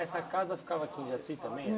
Essa casa ficava aqui em Jaci também?